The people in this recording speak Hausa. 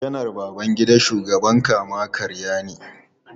Janar Babangida shugaban kama-karya ne.